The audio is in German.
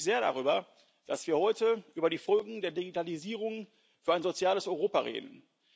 Ich freue mich sehr darüber, dass wir heute über die Folgen der Digitalisierung für ein soziales Europa reden.